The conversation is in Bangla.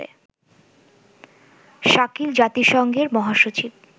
শাকিল জাতিসংঘের মহাসচিব